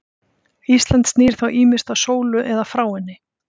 Ísland snýr þá ýmist að sólu eða frá henni.